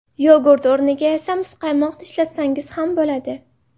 Yogurt o‘rniga esa muzqaymoq ishlatsangiz ham bo‘ladi.